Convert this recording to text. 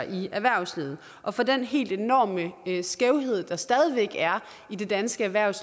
i erhvervslivet og for den helt enorme skævhed der stadig væk er i det danske erhvervs